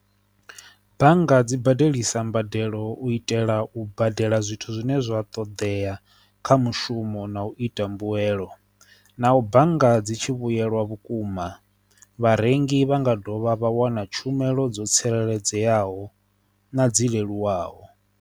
Bannga dzi badelisa mbadelo u itela u badela zwithu zwine zwa ṱoḓea kha mushumo na u ita mbuyelo na u bannga dzi tshi vhuyelwa vhukuma vharengi vha nga dovha vha wana tshumelo dzo tsireledzeaho na dzi leluwaho.